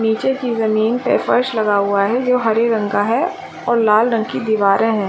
निचे की जमीं पे फर्स लगा हुआ है जो हरे रंग का है और लाल रंग की दीवारे है ।